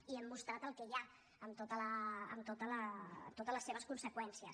i hem mostrat el que hi ha amb totes les seves conseqüències